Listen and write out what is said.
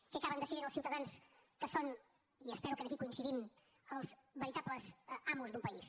què acaben decidint els ciutadans que són i espero que aquí coincidim els veritables amos d’un país